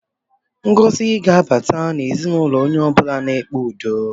Ngọzi ga-abata n'ezinụlọ onye ọ bụla na-ekpe udo